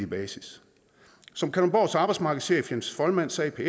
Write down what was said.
basis som kalundborgs arbejdsmarkedschef jens folman sagde i